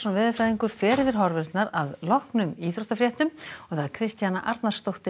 veðurfræðingur fer yfir horfurnar að loknum íþróttafréttum Kristjana Arnarsdóttir